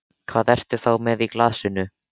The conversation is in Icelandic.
Hvað ertu þá með í glasinu?